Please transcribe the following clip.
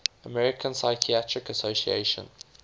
american psychiatric association